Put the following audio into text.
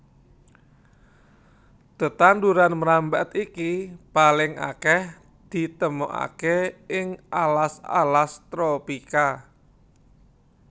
Tetanduran mrambat iki paling akèh ditemokaké ing alas alas tropika